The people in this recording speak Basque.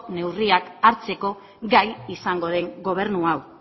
neurriak hartzeko gai izango den gobernu hau